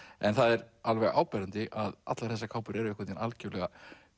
en það er alveg áberandi að allar þessa kápur eru einhvern veginn algjörlega